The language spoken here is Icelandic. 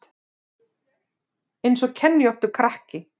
Eins og kenjóttur krakki